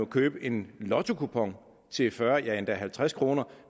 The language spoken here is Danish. købe en lottokupon til fyrre eller endda halvtreds kr